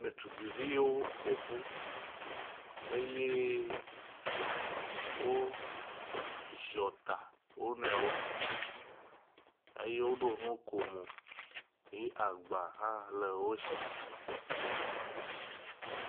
Ɖetugbeviwo ƒoƒu eye woziɔ ta wo nɔewo eye woɖo nukomo eye agba hã le wo si.